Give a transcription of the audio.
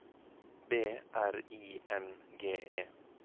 B R I N G E